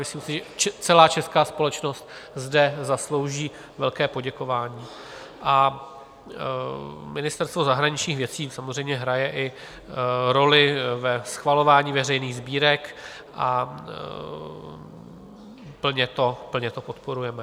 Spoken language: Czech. Myslím si, že celá česká společnost zde zaslouží velké poděkování a Ministerstvo zahraničních věcí samozřejmě hraje i roli ve schvalování veřejných sbírek a plně to podporujeme.